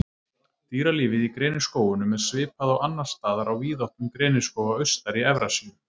Dýralífið Í greniskógunum er svipað og annars staðar á víðáttum greniskóga austar í Evrasíu.